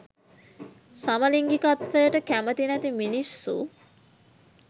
සමලින්ගිකත්වයට කැමති නැති මිනිස්සු